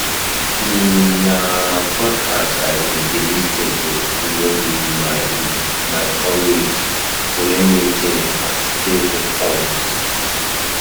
um Na podcasts I um dey lis ten to during um my um my commute to learn new things and stay informed.